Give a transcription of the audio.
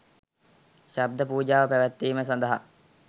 ශබ්ද පූජාව පැවැත්වීම සඳහා